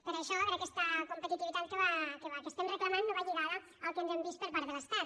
per això aquesta competitivitat que estem reclamant no va lligada al que hem vist per part de l’estat